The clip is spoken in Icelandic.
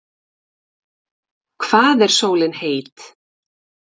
hvað er sólin heit